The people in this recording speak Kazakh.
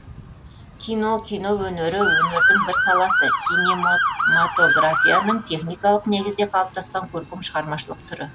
кино кино өнері өнердің бір саласы кинемоматографияның техникалық негізде қалыптасқан көркем шығармашылық түрі